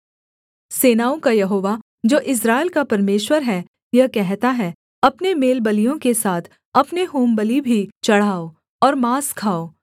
सेनाओं का यहोवा जो इस्राएल का परमेश्वर है यह कहता है अपने मेलबलियों के साथ अपने होमबलि भी चढ़ाओ और माँस खाओ